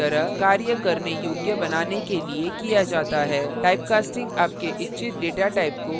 typecasting आपके इच्छित data type को कोष्ठक में बंद करके किया data है